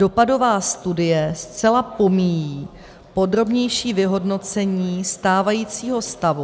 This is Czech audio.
Dopadová studie zcela pomíjí podrobnější vyhodnocení stávajícího stavu...